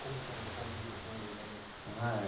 Como que era esse convívio com eles ali? Ah